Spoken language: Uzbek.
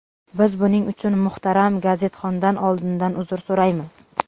Biz buning uchun muhtaram gazetxondan oldindan uzr so‘raymiz.